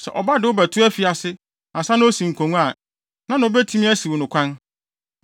“Sɛ ɔba de wo bɛto afiase ansa na osi nkongua a, hena na obetumi asiw no kwan?